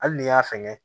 Hali n'i y'a fɛngɛ